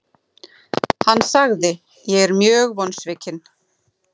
Hann sagði:, Ég er mjög vonsvikinn.